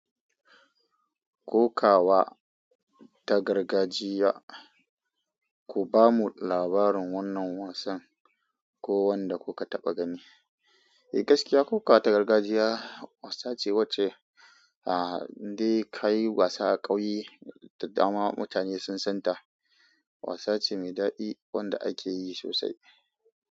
Kokawa ta gargajiya. Ku bamu labarin wannan wasan ko wanda ku ka taba gani. Eh, gaskiya kokawa ta gargajiya wasa ce wacce, ah, inde ka yi wasa a ƙauye da dama mutane sun san ta. Wasa ce mai daɗi wanda ake yi sosai.